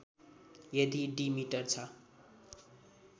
यदि diameter छ